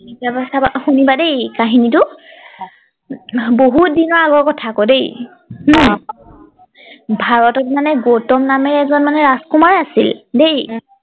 শুনিবা দেই কাহিনীটো বহুত দিনৰ আগৰ কথা আকৌ দেই ভাৰতত মানে গৌতম নামেৰে এজন মানে ৰাজকুমাৰ আছিল দেই